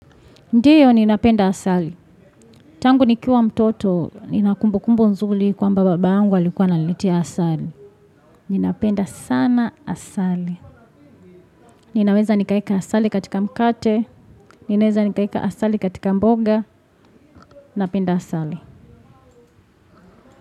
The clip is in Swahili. Ndio ninapenda asali. Tangu nikiwa mtoto nina kumbukumbu nzuri kwamba babangu alikua ananiletea asali. Ninapenda sana asali. Ninaweza nikaeka asali katika mkate. Ninaweza nikaeka asali katika mboga. Napenda asali.